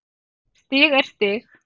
Stig er stig.